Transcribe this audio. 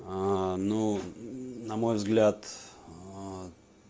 ну на мой взгляд